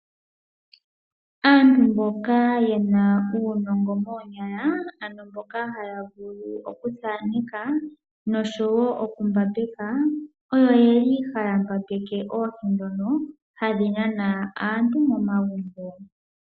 Aantu mboka ye na uunongo moonyala ano mboka haya vulu oku thaneka nosho woo okumbambeka, oyo yeli haya mbambeke oohi dhono hadhi nana aantu momagumbo.